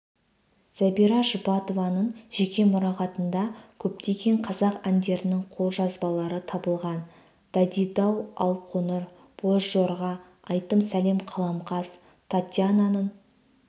зәбира жұбатованың жеке мұрағатында көптеген қазақ әндерінің қолжазбалары табылған дайдидау алқоңыр бозжорға айтым сәлем қаламқас татьянаның